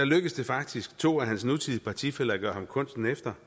lykkedes det faktisk to af hans nutidig partifæller at gøre ham kunsten efter